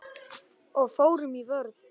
Og fórum í vörn.